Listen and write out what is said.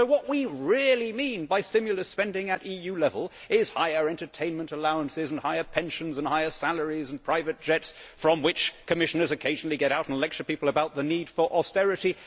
So what we really mean by stimulus spending at EU level is higher entertainment allowances and higher pensions and higher salaries and private jets from which Commissioners occasionally get out and lecture people about the need for austerity.